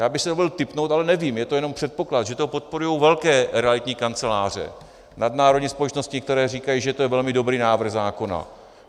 Já bych si dovolil tipnout, ale nevím, je to jenom předpoklad, že to podporují velké realitní kanceláře, nadnárodní společnosti, které říkají, že to je velmi dobrý návrh zákona.